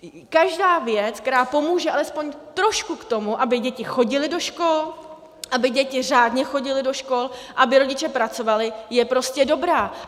Každá věc, která pomůže alespoň trošku k tomu, aby děti chodily do škol, aby děti řádně chodily do škol, aby rodiče pracovali, je prostě dobrá.